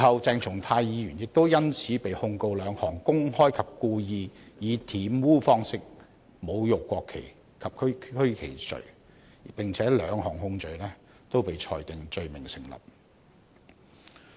鄭松泰議員事後因此被控兩項公開及故意以玷污方式侮辱國旗及區旗罪，兩項控罪均被裁定成立。